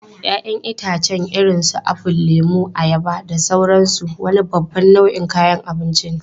Ya'yan itãcen irin su apple, lemu, ayaba, da sauransu wani babban nau'in kayan abinci ne.